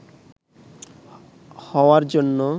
হওয়ার জন্য